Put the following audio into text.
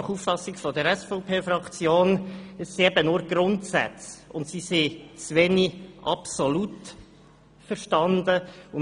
Nach Auffassung der SVPFraktion besteht das Problem darin, dass es sich nur um Grundsätze handelt, welche zu wenig absolut verstanden sind.